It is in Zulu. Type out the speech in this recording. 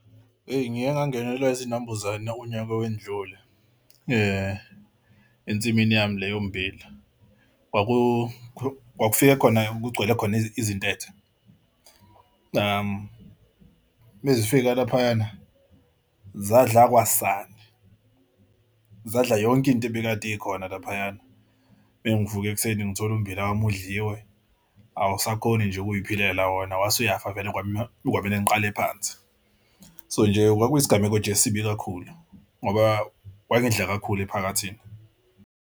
Eyi ngiye ngangenelwa izinambuzane unyaka owendlule ensimini yami le yommbila kwakufike khona kugcwele khona izintethe umazifika laphayana zadla kwasani zadla yonke into ebikade ikhona laphayana. Uma ngivuke ekuseni ngithole ummbila wami udliwe awusakhoni nje ukuyiphila la wona wase uyafa vele kwamele ngiqale phansi. So nje kwauyisigameko nje esibi kakhulu ngoba kwangidla kakhulu ephaketheni.